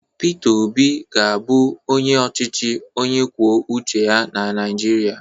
Peter Obi ga-abụ onye ọchịchị onye kwuo uche ya na Naịjirịa